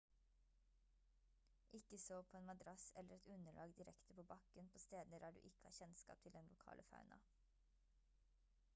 ikke sov på en madrass eller et underlag direkte på bakken på steder der du ikke har kjennskap til den lokale fauna